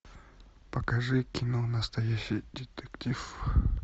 покажи кино настоящий детектив